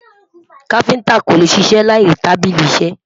kafinta kò lẹ ṣiṣẹ là ìní tábìlì iṣisẹ